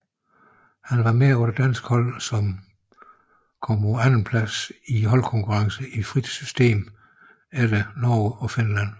Han var med på det danske hold som kom på andenpladsen i holdkonkurrencen i frit system efter Norge og Finland